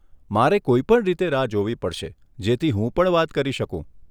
મારે કોઈ પણ રીતે રાહ જોવી પડશે જેથી હું પણ વાત કરી શકું.